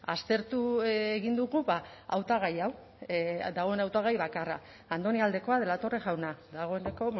aztertu egin dugu hautagai hau dagoen hautagai bakarra andoni aldekoa de la torre jauna dagoeneko